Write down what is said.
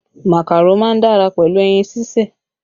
Màkàró má ń dára pẹ̀lú ẹyin sísè